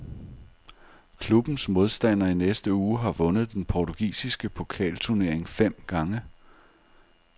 Klubbens modstander i næste uge har vundet den portugisiske pokalturnering fem gange.